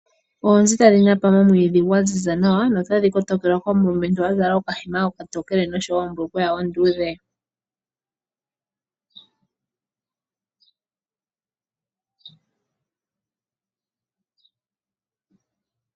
Oonzi tadhi napa momwiidhi gwaziza nawa notadhi kotokelwa komulumentu a zala okahema oka tokele noshowo ombulukweya onduudhe.